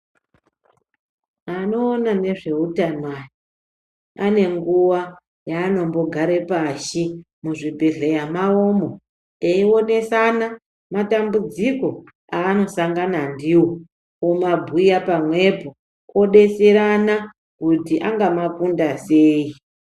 Anoona nezveutano aya, ane nguwa yaanombogare pashi muzvibhedhlera mawomo eionesana matambudziko aano sangana ndiwo, omabhuya pamwepo odetserana kuti angama kunda sei.